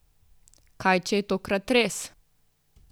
Kaj če je tokrat res?